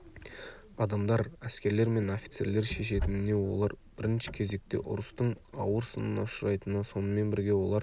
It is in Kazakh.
адамдар әскерлер мен офицерлер шешетініне олар бірінші кезекте ұрыстың ауыр сынына ұшырайтынына сонымен бірге олар